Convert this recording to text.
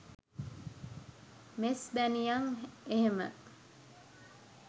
මෙස්බැනියං එහෙම